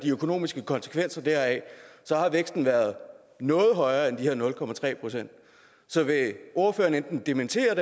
økonomiske konsekvenser deraf har væksten været noget højere end de her nul procent så vil ordføreren enten dementere